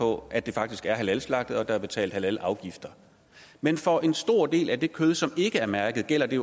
på at det faktisk er halalslagtet og at der er betalt halalafgifter men for en stor del af det kød som ikke er mærket gælder det